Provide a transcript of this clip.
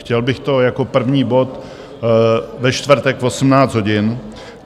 Chtěl bych to jako první bod ve čtvrtek v 18 hodin.